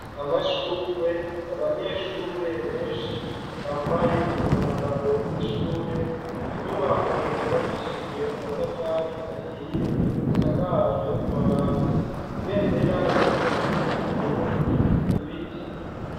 Amashurwe, abanyeshure benshi bambaye umwambaro w'ishure, inyubako zubakishijwe amatafari ahiye zisakajwe amabati, ibendera ry'igihugu c'Uburundi, ibiti.